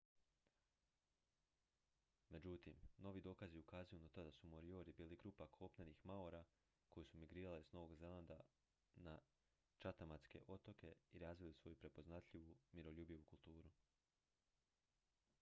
međutim novi dokazi ukazuju na to da su moriori bili grupa kopnenih maora koji su migrirali s novog zelanda na chathamske otoke i razvili svoju prepoznatljivu miroljubivu kulturu